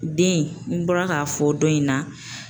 Den n bɔra k'a fɔ dɔ in na